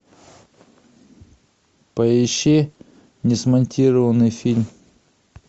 поищи несмонтированный фильм